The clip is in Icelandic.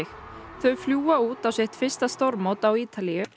þau fljúga út á sitt fyrsta stórmót á Ítalíu